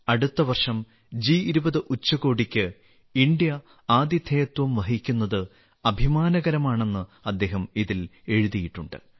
അടുത്ത വർഷം ജി20 ഉച്ചകോടിക്ക് ഇന്ത്യ ആതിഥേയത്വം വഹിക്കുന്നത് അഭിമാനകരമാണെന്ന് അദ്ദേഹം ഇതിൽ എഴുതിയിട്ടുണ്ട്